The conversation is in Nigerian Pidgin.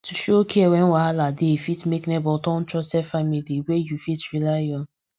to show care wen wahala dey fit make neighbour turn trusted family wey you fit rely on